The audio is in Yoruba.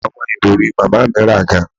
Awọn irọri Mama mi ra gan